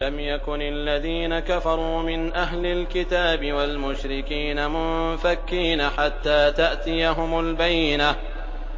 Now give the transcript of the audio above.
لَمْ يَكُنِ الَّذِينَ كَفَرُوا مِنْ أَهْلِ الْكِتَابِ وَالْمُشْرِكِينَ مُنفَكِّينَ حَتَّىٰ تَأْتِيَهُمُ الْبَيِّنَةُ